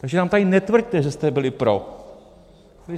Takže nám tady netvrďte, že jste byli pro.